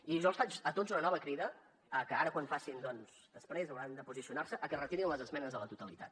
i jo els faig a tots una nova crida que ara quan després hauran de posicionar se que es retirin les esmenes a la totalitat